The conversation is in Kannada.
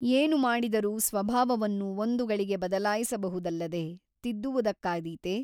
ಏನು ಮಾಡಿದರೂ ಸ್ವಭಾವವನ್ನು ಒಂದು ಗಳಿಗೆ ಬದಲಾಯಿಸಬಹುದಲ್ಲದೆ ತಿದ್ದುವುದಕ್ಕಾದೀತೆ ?